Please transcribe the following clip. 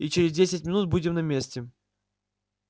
и через десять минут будем на месте